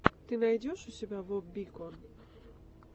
ты найдешь у себя воп бикон